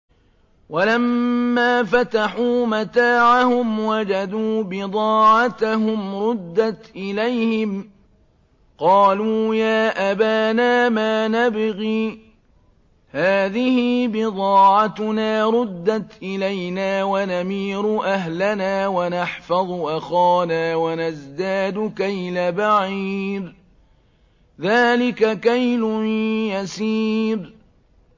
وَلَمَّا فَتَحُوا مَتَاعَهُمْ وَجَدُوا بِضَاعَتَهُمْ رُدَّتْ إِلَيْهِمْ ۖ قَالُوا يَا أَبَانَا مَا نَبْغِي ۖ هَٰذِهِ بِضَاعَتُنَا رُدَّتْ إِلَيْنَا ۖ وَنَمِيرُ أَهْلَنَا وَنَحْفَظُ أَخَانَا وَنَزْدَادُ كَيْلَ بَعِيرٍ ۖ ذَٰلِكَ كَيْلٌ يَسِيرٌ